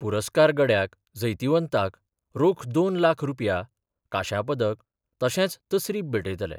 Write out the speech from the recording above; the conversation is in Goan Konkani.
पुरस्कार गड्याक जैतीवंताक रोख दोन लाखरुपया कांश्या पदक तशेंच तसरीप भेटयतले.